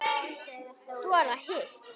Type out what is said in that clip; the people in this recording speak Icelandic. Svo er það hitt.